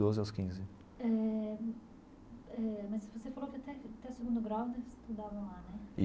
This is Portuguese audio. Doze aos quinze. Eh eh mas você falou que até até o segundo grau você estudava lá, né?